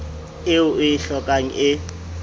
eo o e hlokang e